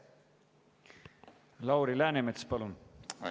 Lauri Läänemets, palun!